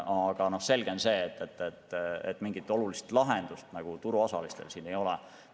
Aga on selge, et mingit olulist lahendust turuosalistele siin ei ole.